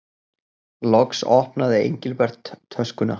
Loks opnaði Engilbert töskuna.